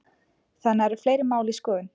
Þannig að það eru fleiri mál í skoðun?